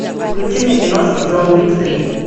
включи мне киношку джон уик три